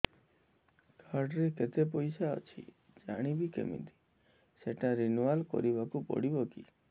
card ରେ କେତେ ପଇସା ଅଛି ଜାଣିବି କିମିତି ସେଟା ରିନୁଆଲ କରିବାକୁ ପଡ଼ିବ କି